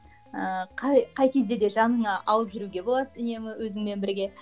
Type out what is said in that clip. ыыы қай қай кезде де жаныңа алып жүруге болады үнемі өзіңмен бірге